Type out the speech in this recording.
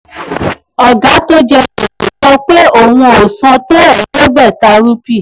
ọ̀gá tó jẹ gbèsè sọ pé òun ò san owó tó tó ẹ̀ẹ́dẹ́gbàta rúpì. ẹ̀ẹ́dẹ́gbàta rúpì.